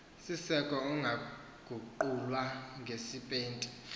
siseko ungaguqulwa ngepesenti